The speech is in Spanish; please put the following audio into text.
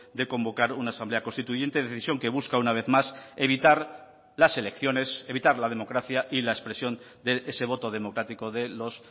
de convocar una asamblea constituyente decisión que busca una vez más evitar las elecciones evitar la democracia y la expresión de ese voto democrático de los